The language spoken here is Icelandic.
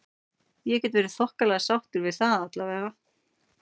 Ég get verið þokkalega sáttur við það allavega.